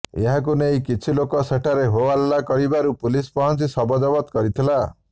ଏହାକୁ ନେଇ କିଛି ଲୋକ ସେଠାରେ ହୋହାଲ୍ଲା କରିବାରୁ ପୁଲିସ୍ ପହଞ୍ଚି ଶବ ଜବତ କରିଥିଲା